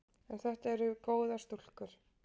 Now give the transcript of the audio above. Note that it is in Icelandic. En þetta eru góðar stúlkur.